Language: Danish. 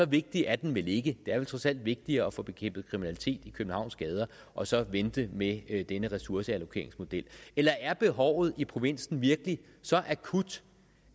vigtig er den vel ikke det er vel trods alt vigtigere at få bekæmpet kriminaliteten i københavns gader og så vente med denne ressourceallokeringsmodel eller er behovet i provinsen virkelig så akut